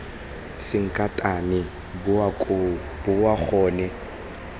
sankatane boa koo boa gone